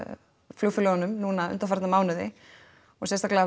flugfélögunum núna undanfarna mánuði og sérstaklega